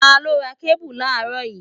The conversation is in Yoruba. Ta ló ra kébù láàrọ́ yìí?